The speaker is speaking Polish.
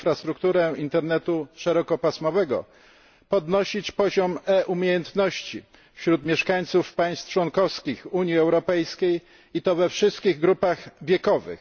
w infrastrukturę internetu szerokopasmowego, podnosić poziom e umiejętności wśród mieszkańców państw członkowskich Unii Europejskiej, i to we wszystkich grupach wiekowych.